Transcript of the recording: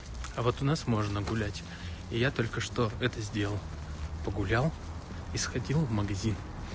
а вот у нас можно гулять и я только что это сделал погулял и сходил в магазин